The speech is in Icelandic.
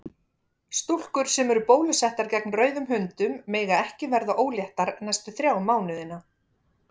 Stúlkur sem eru bólusettar gegn rauðum hundum mega ekki verða óléttar næstu þrjá mánuðina.